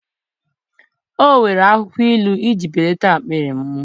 O were akwukwo ilu iji belata akpịrị m.